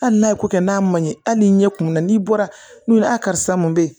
Hali n'a ye ko kɛ n'a ma ɲɛ hali ni ɲɛ kumunna n'i bɔra n'u ye a karisa mun be yen